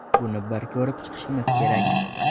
Buni bir ko‘rib chiqishimiz kerak.